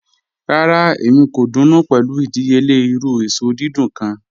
Rárá, èmi kò dùnú pé̩lú ìdíyèle̩ irù èsò dídùn kàn.